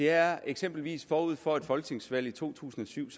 er eksempelvis forud for et folketingsvalg i to tusind og syv